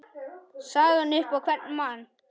sagan upp á hvern mann